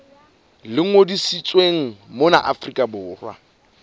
le ngodisitsweng mona afrika borwa